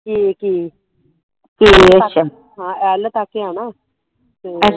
kk ਹਾਂ l ਤਕ ਆ ਨਾ ਤੇ